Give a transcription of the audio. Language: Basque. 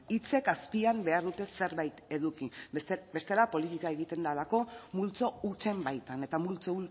hitzek azpian behar dute zerbait eduki bestela politika egiten delako multzo hutsen baitan eta multzo